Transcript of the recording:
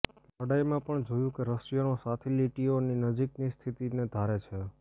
લડાઇમાં પણ જોયું કે રશિયનો સાથી લીટીઓની નજીકની સ્થિતિને ધારે છે